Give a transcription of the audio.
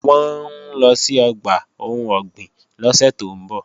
Wọ́n ń lọ sí ọgbà ohun ọ̀gbìn lọ́sẹ̀ tó ń bọ̀